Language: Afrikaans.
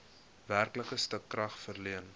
werklike stukrag verleen